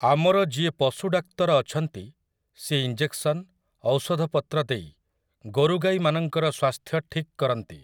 ଆମର ଯିଏ ପଶୁ ଡାକ୍ତର ଅଛନ୍ତି ସିଏ ଇଂଜେକ୍‌ସନ, ଔଷଧପତ୍ର ଦେଇ ଗୋରୁଗାଈମାନଙ୍କର ସ୍ୱାସ୍ଥ୍ୟ ଠିକ୍‌ କରନ୍ତି ।